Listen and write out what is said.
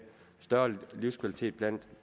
større livskvalitet blandt